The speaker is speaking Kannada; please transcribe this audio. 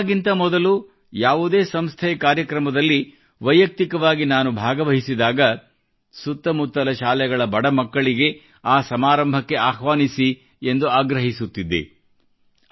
ಕೊರೊನಾಗಿಂತ ಮೊದಲು ಯಾವುದೇ ಸಂಸ್ಥೆಯ ಕಾರ್ಯಕ್ರಮದಲ್ಲಿ ವೈಯಕ್ತಿಕವಾಗಿ ಭಾಗವಹಿಸಿದಾಗ ಸುತ್ತಮುತ್ತಲ ಶಾಲೆಗಳ ಬಡ ಮಕ್ಕಳಿಗೆ ಆ ಸಮಾರಂಭಕ್ಕೆ ಆಹ್ವಾನಿಸಿ ಎಂದು ಆಗ್ರಹಿಸುತ್ತಿದ್ದೆ